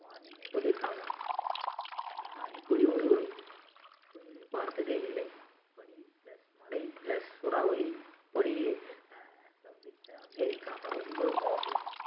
warning னு சொல்லி இருக்காங்க அஹ் இப்படி ஒரு வெயிலை பார்த்ததே இல்லை வெயில் plus மழை plus சூறாவளி plus இப்படி ஸ்தம்பித்த அமெரிக்கா ரொம்ப மோசம்